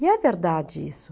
E é verdade isso.